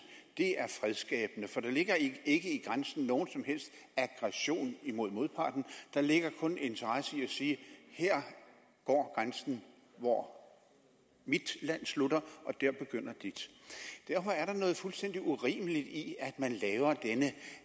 er fredsskabende for der ligger ikke ikke i grænsen nogen som helst aggression imod modparten der ligger kun en interesse i at sige her går grænsen hvor mit land slutter og der begynder dit derfor er der noget fuldstændig urimeligt i at man laver denne